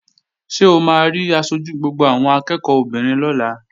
Ṣé o máa rí aṣojú gbogbo àwọn akẹ́ẹ̀kọ́ obìnrin lọ́la?